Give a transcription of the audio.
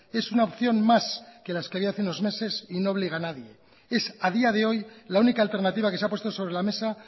es una opción más que las que había hace unos meses y no obliga a nadie es a día de hoy la única alternativa que se ha puesto sobre la mesa